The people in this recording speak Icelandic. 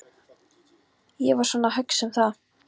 Ég var svona að hugsa um það.